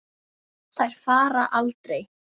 Þær fara aldrei.